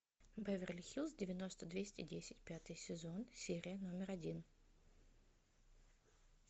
беверли хиллз девяносто двести десять пятый сезон серия номер один